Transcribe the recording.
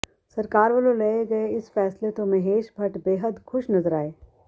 ਸਰਕਾਰ ਵੱਲੋਂ ਲਏ ਗਏ ਇਸ ਫੈਸਲੇ ਤੋਂ ਮਹੇਸ਼ ਭੱਟ ਬੇਹੱਦ ਖੁਸ਼ ਨਜ਼ਰ ਆਏ